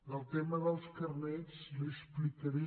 del tema dels carnets l’hi explicaré